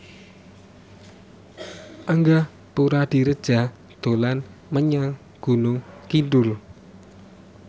Angga Puradiredja dolan menyang Gunung Kidul